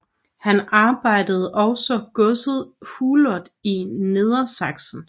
Han ejede også godset Hutloh i Nedersaksen